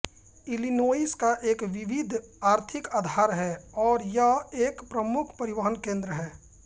Illinois का एक विविध आर्थिक आधार है और यह एक प्रमुख परिवहन केंद्र है